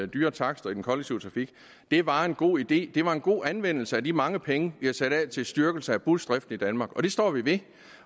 dyre takster i den kollektive trafik var en god idé det er en god anvendelse af de mange penge vi har sat af til styrkelse af busdrift i danmark og det står vi